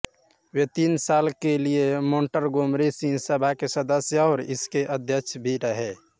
वे तीन साल के लिए मोंटगोमरी सिंह सभा के सदस्य और इसके अध्यक्ष भी रहे